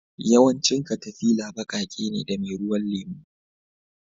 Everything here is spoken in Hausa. Yawancin katafila baƙaƙe ne da meruwan lemu